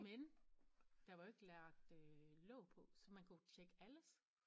Men der var jo ikke lagt øh låg på så man kunne tjekke alles